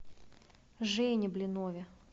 жене блинове